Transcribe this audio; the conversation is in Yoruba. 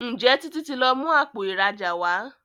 Njé Títí tí lọ mú Àpò ìrajà wá?